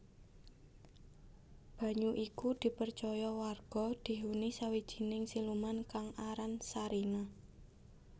Banyu iku dipercaya warga dihuni sawijining siluman kang aran Sarinah